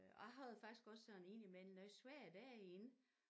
Og jeg havde faktisk også sådan ind imellem noget svært derinde